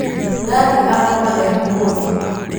Nathi akoma e mũhũtu.